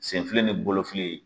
Sen fili ni bolo fili